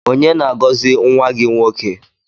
Onye na-agọzi nwa gị nwoke?